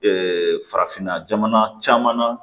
farafinna jamana caman na